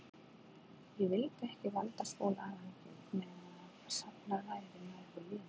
Ég vildi ekki valda Skúla áhyggjum meðan safnað væri nægu liði.